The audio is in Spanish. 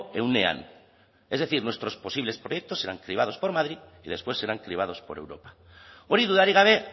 ehunean es decir nuestros posibles proyectos seran cribados por madrid y después serán cribados por europa hori dudarik gabe